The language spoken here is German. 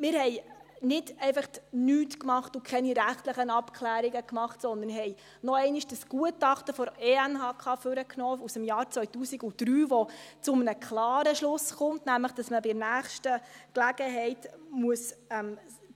Wir haben nicht einfach nichts gemacht und keine rechtlichen Abklärungen gemacht, sondern wir haben noch einmal dieses Gutachten der ENHK aus dem Jahr 2003 hervorgenommen, das zu einem klaren Schluss kommt: nämlich, dass man bei der nächsten Gelegenheit